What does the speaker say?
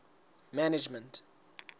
management